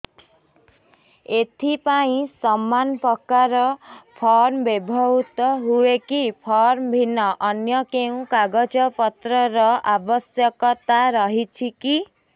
ଏଥିପାଇଁ ସମାନପ୍ରକାର ଫର୍ମ ବ୍ୟବହୃତ ହୂଏକି ଫର୍ମ ଭିନ୍ନ ଅନ୍ୟ କେଉଁ କାଗଜପତ୍ରର ଆବଶ୍ୟକତା ରହିଛିକି